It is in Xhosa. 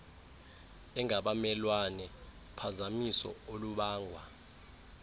engabamelwane uphazamiso olubangwa